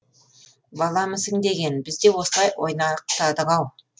баламысың деген біз де осылай ойнақтадық ау